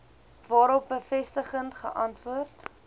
waarop bevestigend geantwoord